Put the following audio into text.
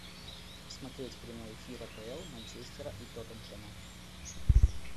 смотреть прямой эфир апл манчестера и тоттенхэма